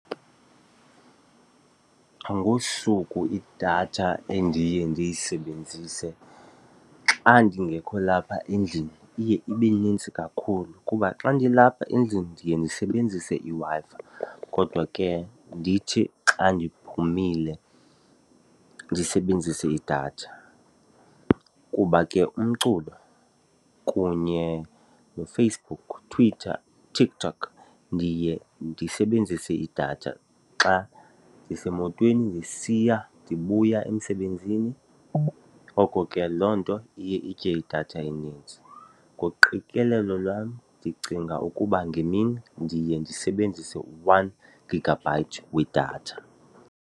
Ngosuku idatha endiye ndiyisebenzise xa ndingekho lapha endlini iye ibe nintsi kakhulu kuba xa ndilapha endlini ndiye ndisebenzise iWi-Fi kodwa ke ndithi xa ndiphumile ndisebenzise idatha. Kuba ke umculo kunye noFacebook, Twitter, TikTok, ndiye ndisebenzise idatha xa ndisemotweni ndisiya ndibuya emsebenzini, ngoko ke loo nto iye itye idatha enintsi. Ngoqikelelo lwam ndicinga ukuba ngemini ndiye ndisebenzise one gigabyte wedatha.